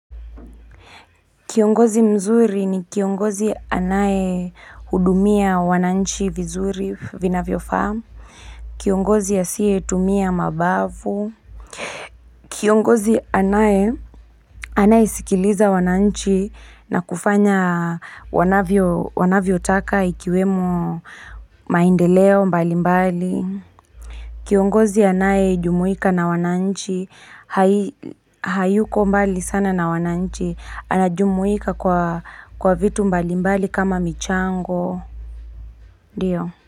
Kiongozi mzuri ni kiongozi anaye hudumia wananchi vizuri vinafyofaa. Kiongozi asiye tumia mabavu. Kiongozi anaye anaye sikiliza wananchi na kufanya wanavyo taka ikiwemo maendeleo mbali mbali. Kiongozi anaye jumuika na wananchi, hayuko mbali sana na wananchi, anajumuika kwa vitu mbali mbali kama michango, ndiyo.